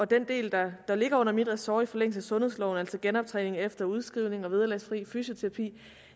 den del der ligger under mit ressort i forlængelse af sundhedsloven altså genoptræning efter udskrivning og vederlagsfri fysioterapi